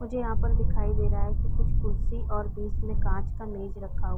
मुझे यहाँ पर दिखाई दे रहा है कि कुछ कुर्सी और बीच में कांच का मेज रखा --